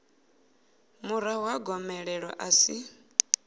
murahu ha gomelelo a si